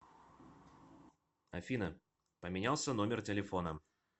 афина поменялся номер телефона